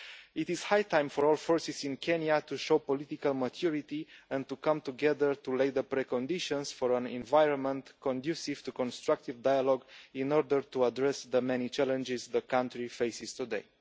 It is high time for all forces in Kenya to show political maturity and to come together to lay the preconditions for an environment conducive to constructive dialogue in order to address the many challenges the country faces today.